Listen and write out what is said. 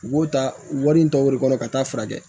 U b'o ta wari in ta o de kɔnɔ ka taa furakɛ